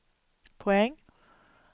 poäng